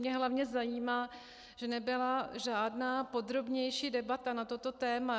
Mě hlavně zajímá, že nebyla žádná podrobnější debata na toto téma.